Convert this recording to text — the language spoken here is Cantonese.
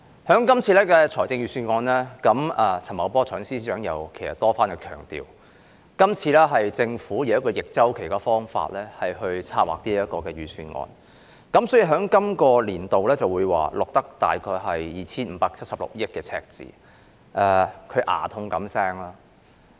代理主席，就這份財政預算案，財政司司長陳茂波多番強調是以逆周期的方法策劃，好像牙痛般說本年度會有大約 2,576 億元的赤字。